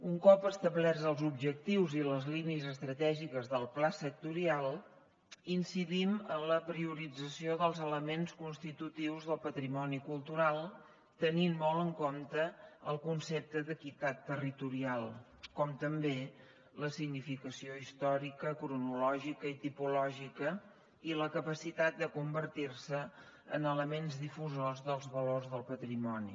un cop establerts els objectius i les línies estratègiques del pla sectorial incidim en la priorització dels elements constitutius del patrimoni cultural tenint molt en compte el concepte d’equitat territorial com també la significació històrica cronològica i tipològica i la capacitat de convertir se en elements difusors dels valors del patrimoni